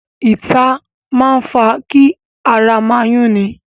Ìta máa ń fa kí ara máa yúnni.